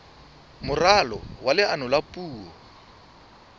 moralo wa leano la puo